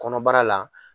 Kɔnɔbara la